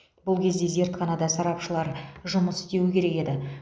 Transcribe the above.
бұл кезде зертханада сарапшылар жұмыс істеуі керек еді